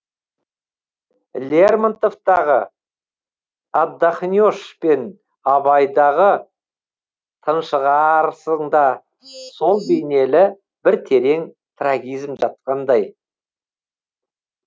лермонтовтағы отдохнешь пен абайдағы тыншығаарсыңда сол бейнелі бір терең трагизм жатқандай